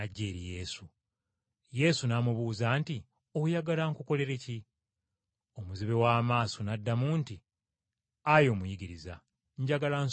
Yesu n’amubuuza nti, “Oyagala nkukolere ki?” Omuzibe w’amaaso n’addamu nti, “Ayi Omuyigiriza, njagala nsobole okulaba!”